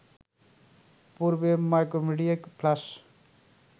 পূর্বে Macromedia flash